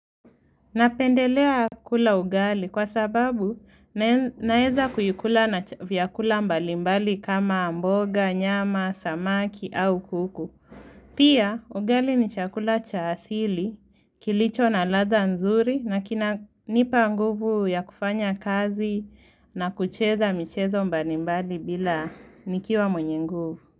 Napendelea kula ugali kwa sababu nae naeza kuikula na ch vyakula mbali mbali kama mboga, nyama, samaki au kuku. Pia ugali ni chakula cha asili kilicho na ladha nzuri nakina nipa nguvu ya kufanya kazi na kucheza michezo mbali mbali bila nikiwa mwenye nguvu.